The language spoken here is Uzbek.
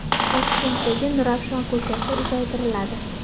Toshkentdagi Nurafshon ko‘chasi uzaytiriladi.